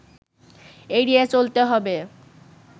এড়িয়ে চলতে হবে